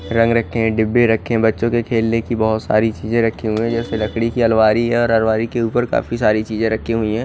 रंग रखे डिब्बे रखे बच्चों के खेलने के लिए बहोत सारी चीजे रखी हुई है जैसे लकड़ी की अलमारी है और अलमारी के उपर काफी सारी चीजे रखी हुई है।